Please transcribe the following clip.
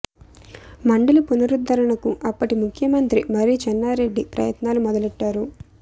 మండలి పునరుద్ధరణకు అప్పటి ముఖ్యమంత్ర మర్రి చెన్నారెడ్డి ప్రయత్నాలు మొదలెట్టారు